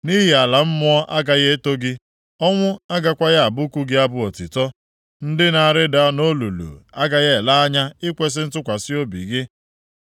Nʼihi nʼala mmụọ agaghị eto gị, ọnwụ agakwaghị abụku gị abụ otuto. Ndị na-arịda nʼolulu agaghị ele anya ikwesi ntụkwasị obi gị.